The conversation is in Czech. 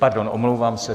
Pardon, omlouvám se.